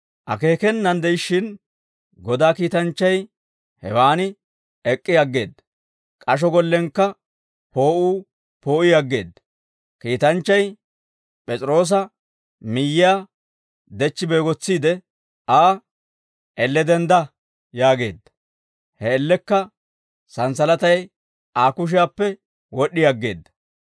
Akeekenaan de'ishshin, Godaa kiitanchchay hewaan ek'k'i aggeedda; k'asho gollenkka poo'uu poo'ii aggeedda. Kiitanchchay P'es'iroosa miyyiyaa dechchi beegotsiide Aa, «Elle dendda» yaageedda; he man''iyaan santsalatay Aa kushiyaappe wod'd'i aggeedda.